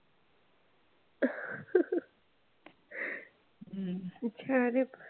हम्म खूप छान आहे.